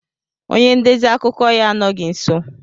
Onye ndezi akụkọ ya anọghị nso.